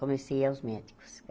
Comecei aos médicos.